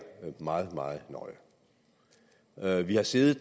meget meget nøje vi har siddet